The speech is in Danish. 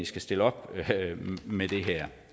skal stille op med det her